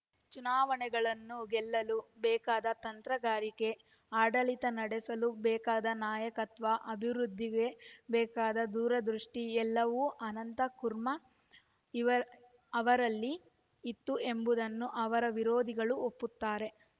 ಚುನಾವಣೆಗಳನ್ನು ಗೆಲ್ಲಲು ಬೇಕಾದ ತಂತ್ರಗಾರಿಕೆ ಆಡಳಿತ ನಡೆಸಲು ಬೇಕಾದ ನಾಯಕತ್ವ ಅಭಿವೃದ್ಧಿಗೆ ಬೇಕಾದ ದೂರದೃಷ್ಟಿ ಎಲ್ಲವೂ ಅನಂತ ಕುರ್ಮ ಅವರಲ್ಲಿ ಇತ್ತು ಎಂಬುದನ್ನು ಅವರ ವಿರೋಧಿಗಳೂ ಒಪ್ಪುತ್ತಾರೆ